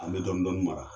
An bɛ dɔɔnin dɔɔnin mara